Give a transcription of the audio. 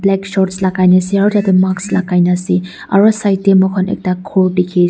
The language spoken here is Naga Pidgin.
black shorts lagai na ase aro tate mask lagai na ase aro side tey moikhan ekta ghor dekhi--